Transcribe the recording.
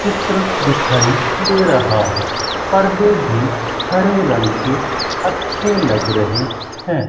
चित्र दिखाई दे रहा है पर्दे भी हरे रंग की अच्छे लग रहे हैं।